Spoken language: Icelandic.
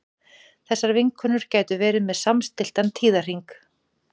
þessar vinkonur gætu verið með samstilltan tíðahring